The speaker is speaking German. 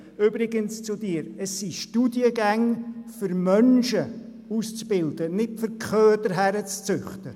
Übrigens haben die Studiengänge das Ziel, Menschen auszubilden und nicht Köder heranzuzüchten.